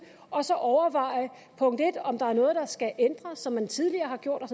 og så overvejer om der er noget som man tidligere har gjort